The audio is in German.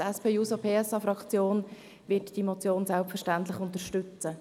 Die SP-JUSO-PSA-Fraktion wird diese Motion selbstverständlich unterstützen.